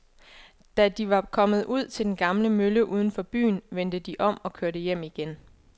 Da de var kommet ud til den gamle mølle uden for byen, vendte de om og kørte hjem igen.